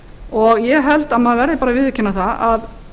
og ég held að maður verði að viðurkenna það að